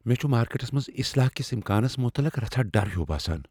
مےٚ چھ مارکٮ۪ٹس منٛز اصلاح کہ امکانس متعلق رژھاہ ڈر ہیُو باسان۔